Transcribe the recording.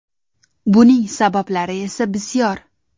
Buning sabablari esa bisyor.